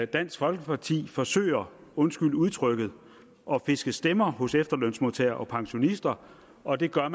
dansk folkeparti forsøger undskyld udtrykket at fiske stemmer hos efterlønsmodtagere og pensionister og det gør